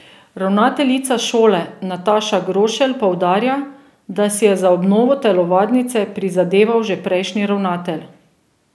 Ravnateljica šole Nataša Grošelj poudarja, da si je za obnovo telovadnice prizadeval že prejšnji ravnatelj.